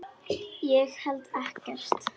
Ég held ekkert.